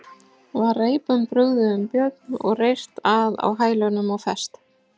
Var reipum brugðið um Björn og reyrt að á hælunum og fest.